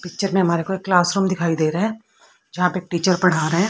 picture में हमारे को एक क्लास रूम दिखाई दे रहा है जहां पे टीचर पढ़ा रहे--